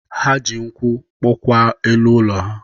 Ha ji nkwụ kpụkwa elu ụlọ ha.